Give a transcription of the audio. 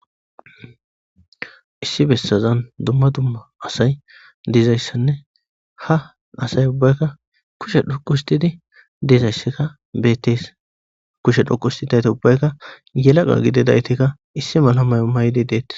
Issi besazan duma duma asay dizaysane ha asay ubayka kushe dhoqu histidi dizaysika beetes kushe denthidayti ubayka yelaga gididaytika issi mala mayo mayidi deetes.